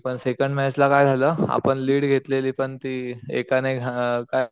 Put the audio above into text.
पण second match ला काय झालं आपण लीड घेतलेली पण ती एकाने घाण काय